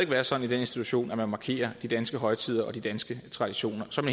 være sådan i den institution at man markerer de danske højtider og de danske traditioner som